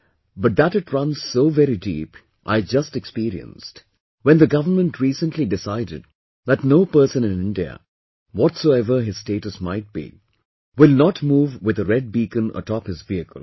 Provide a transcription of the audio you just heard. But that it runs so very deep, I just experienced, when the government recently decided that no person in India, whatsoever his status might be, will not move with a red beacon atop his vehicle